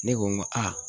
Ne ko n ko aa